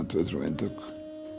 tvö til þrjú eintök